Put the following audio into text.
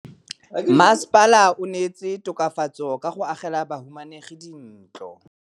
Mmasepala o neetse tokafatsô ka go agela bahumanegi dintlo.